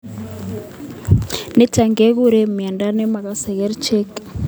Nitok ke kuree ngwonindoo nemakase kerichek.